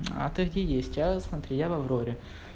а ты где есть а смотри я в авроре